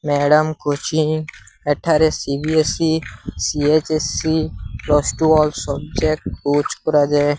Madam coaching ଏଠାରେ CBSE CHSE plus two all subject coach କରାଯାଏ।